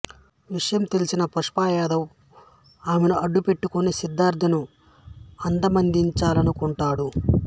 ఆవిషయం తెలిసిన పప్పూయదవ్ ఆమెను అడ్డు పెట్టుకొని సిద్ధార్థను అంతమొందించాలనుకొంటాడు